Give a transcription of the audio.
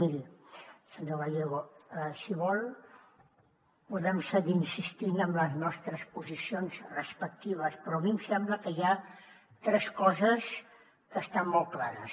miri senyor gallego si vol podem seguir insistint en les nostres posicions respectives però a mi em sembla que hi ha tres coses que estan molt clares